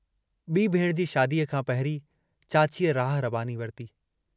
B भेणु जी शादीअ खां पहिरीं, चाचीअ राह रबानी वरिती।